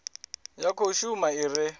ya khou shuma i re